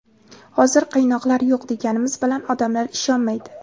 Hozir qiynoqlar yo‘q deganimiz bilan odamlar ishonmaydi.